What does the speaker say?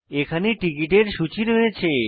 এখানে টিকিটের সূচী রয়েছে